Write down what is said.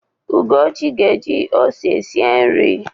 Ugochi ga-eji ose sie nri.